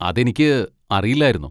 അതെനിക്ക് അറിയില്ലായിരുന്നു.